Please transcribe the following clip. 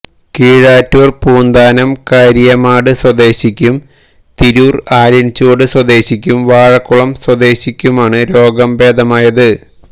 കീഴാറ്റൂര് പൂന്താനം കാരിയമാട് സ്വദേശിക്കും തിരൂര് ആലിന്ചുവട് സ്വദേശിക്കും വാളക്കുളം സ്വദേശിക്കുമാണ് രോഗം ഭേദമായത്